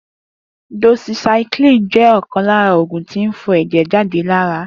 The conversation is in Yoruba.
Doxycycline jẹ́ ọ̀kan lara oògùn tí ń fọ ẹ̀jẹ̀ lára